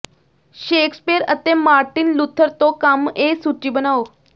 Shakespeare ਅਤੇ Martin Luther ਤੋਂ ਕੰਮ ਇਹ ਸੂਚੀ ਬਣਾਉ